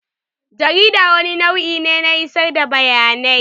Jarida wani nau'i ne na isar da bayanai.